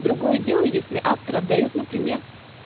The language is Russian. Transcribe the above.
другое дело если автор отдают например